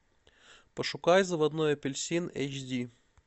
пошукай заводной апельсин эйч ди